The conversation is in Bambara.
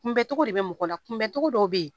Kunbɛncogo de bɛ mɔgɔ la kunbɛncogo dɔw bɛ yen